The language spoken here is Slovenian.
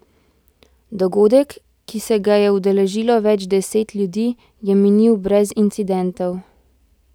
Dogodek, ki se ga je udeležilo več deset ljudi, je minil brez incidentov.